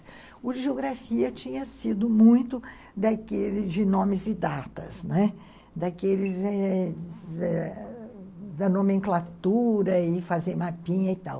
O de geografia tinha sido muito daqueles de nomes e datas, não é? daqueles da nomenclatura e fazer mapinha e tal.